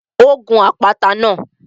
Ó gun àpáta náà